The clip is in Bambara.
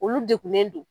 Olu degunnen don